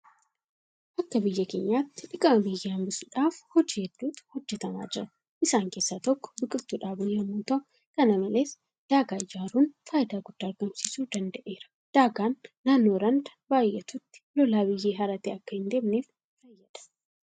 Akka biyya keenyaatti dhiqama biyyee hanbisuudhaaf hojii heddiitu hojjetamaa jira. Isaan keessaa tokko biqiltuu dhaabuu yemmuu ta'u; Kana malees daagaa ijaaruun faayidaa guddaa argamsiisuu danda'eera. Daagaan naannoo randa baay'atutti lolaan biyyee haratee akka hindeemneef fayyada.